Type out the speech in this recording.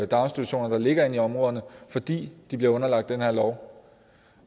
daginstitutioner der ligger inde i områderne fordi de bliver underlagt den her lov